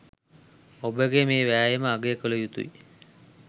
ඔබගේ මේ වෑයම අගය කළ යුතුයි.